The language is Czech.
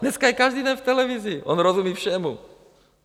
Dneska je každý den v televizi, on rozumí všemu.